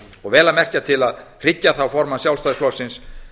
og vel að merkja til að hryggja þá formann sjálfstæðisflokksins